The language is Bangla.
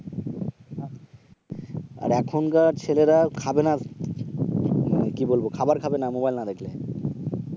আর এখনকার ছেলেরা খাবে না, মানে কি বলবো? খাবার খাবে মোবাইল না দেখলে